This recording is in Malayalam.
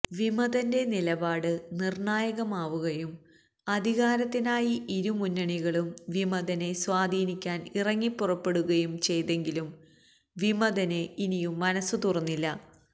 വിമതന്റെ നിലപാട് നിര്ണ്ണായകമാവുകയും അധികാരത്തിനായി ഇരുമുന്നണികളും വിമതനെ സ്വാധീനിക്കാന് ഇറങ്ങിപ്പുറപ്പെടുകയും ചെയ്തെങ്കിലും വിമതന് ഇനിയും മനസ്സു തുറന്നില്ല